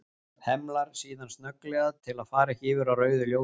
Hemlar síðan snögglega til að fara ekki yfir á rauðu ljósi.